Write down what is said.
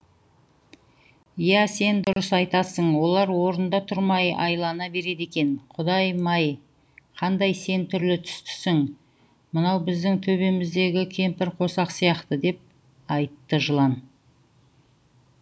иә сен дұрыс айтасын олар орында тұрмай айлана береді екен құдай май қандай сен түрлі түстісің мынау біздің төбеміздегі кемпірқосақ сияқты деп айтты жылан